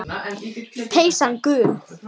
Peysan gul.